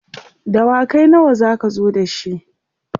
dawakai nawa zaka zo da shi?